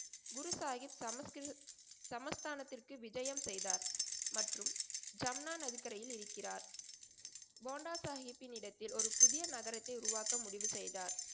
குரு சாஹிப் சமஸ்கி சமஸ்தானத்திற்கு விஜயம் செய்தார் மற்றும் சம்னான் நதிக்கரையில் இருக்கிறார். போண்டா சாஹிப்பின் இடத்தில் ஒரு புதிய நகரத்தை உருவாக்க முடிவு செய்தார்.